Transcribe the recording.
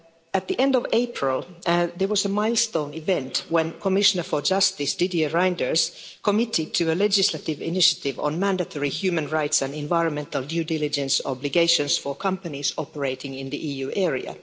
At the end of April, there was a milestone event when the Commissioner for Justice, Didier Reynders, committed to a legislative initiative on mandatory human rights and environmental due diligence obligations for companies operating in the EU area.